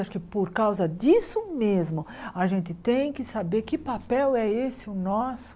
Acho que por causa disso mesmo, a gente tem que saber que papel é esse o nosso